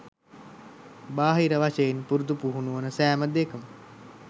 බාහිර වශයෙන් පුරුදු පුහුණුවන සෑම දේකම